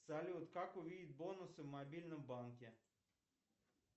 салют как увидеть бонусы в мобильном банке